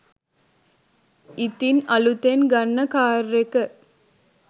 ඉතින් අලුතෙන් ගන්න කාර් එක